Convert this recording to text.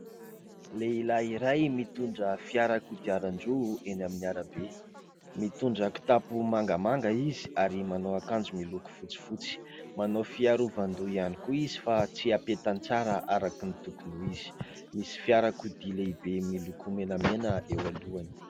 lehilahy iray mitondra fiarakodiaran-droa eny amin'ny arabe ;mitondra kitapo mangamanga izy ary manao akanjo miloko fotsifotsy ,manao fiarovan-doha ihany koa izy fa tsy apetany tsara araka ny tokony izy misy fiarakodia lehibe miloko menamena eo alohany